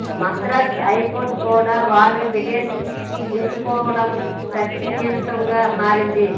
Madras high court కూడా వాళ్ల petition తీసుకోవడం చర్చనీయాంశంగా మారింది